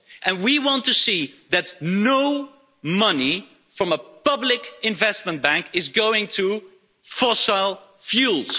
And we want to see that no money from a public investment bank is going to fossil fuels.